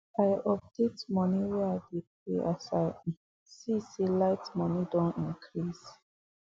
i update money way i dey pay as i um see say light money Accepted increase